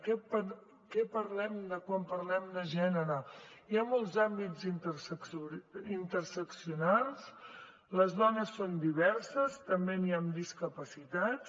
de què parlem quan parlem de gènere hi ha molts àmbits interseccionals les dones són diverses també n’hi ha amb discapacitats